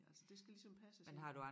Ja altså det skal ligesom passes ind